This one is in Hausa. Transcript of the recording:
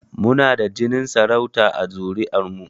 Mu na da jinin sarauta a zuri'ar mu